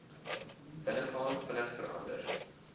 binnegaan vinnig verander